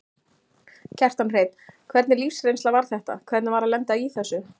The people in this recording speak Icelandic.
Kjartan Hreinn: Hvernig lífsreynsla var þetta, hvernig var að lenda í þessu?